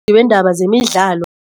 Ngebeendaba zemidlalo.